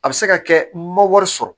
A bɛ se ka kɛ n ma wari sɔrɔ